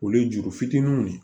O ye juru fitininw de ye